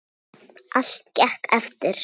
Allt gekk eftir.